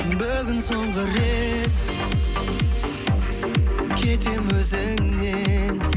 бүгін соңғы рет кетемін өзіңнен